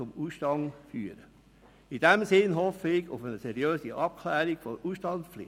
In diesem Sinne hoffe ich auf eine seriöse Abklärung der Ausstandspflicht.